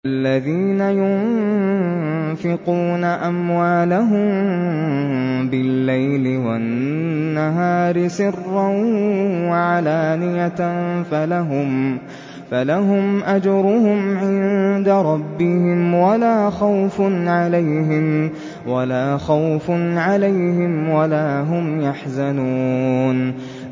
الَّذِينَ يُنفِقُونَ أَمْوَالَهُم بِاللَّيْلِ وَالنَّهَارِ سِرًّا وَعَلَانِيَةً فَلَهُمْ أَجْرُهُمْ عِندَ رَبِّهِمْ وَلَا خَوْفٌ عَلَيْهِمْ وَلَا هُمْ يَحْزَنُونَ